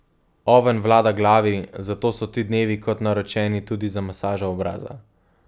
Oven vlada glavi, zato so ti dnevi kot naročeni tudi za masažo obraza.